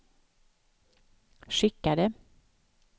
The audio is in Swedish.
skickade